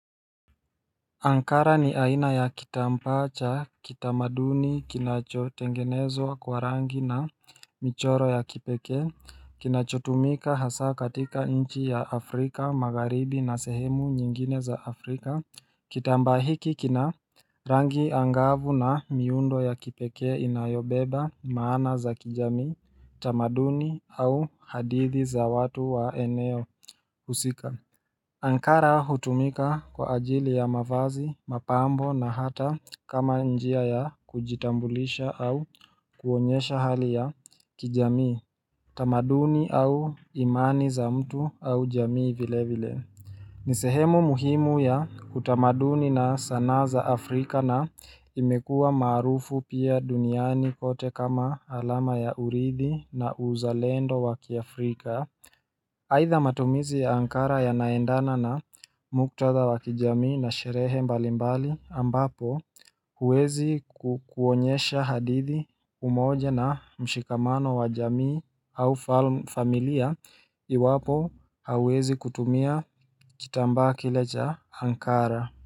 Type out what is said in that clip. Ankara ni aina ya kitambaa cha, kitamaduni, kinachotengenezwa kwa rangi na michoro ya kipekee, kinachotumika hasa katika nchi ya Afrika, magharibi na sehemu nyingine za Afrika, kitambaa hiki kina rangi angavu na miundo ya kipekee inayobeba, maana za kijamii, tamaduni au hadithi za watu wa eneo, husika. Ankara hutumika kwa ajili ya mavazi, mapambo na hata kama njia ya kujitambulisha au kuonyesha hali ya kijamii, tamaduni au imani za mtu au jamii vile vile. Ni sehemu muhimu ya utamaduni na sanaa za Afrika na imekua maarufu pia duniani kote kama alama ya uridhi na uzalendo wakiAfrika aidha matumizi ya Ankara yanaendana na muktadha wa kijamii na sherehe mbalimbali ambapo huwezi kukuonyesha hadithi umoja na mshikamano wa jamii au familia iwapo hawezi kutumia kitambaa kile cha Ankara.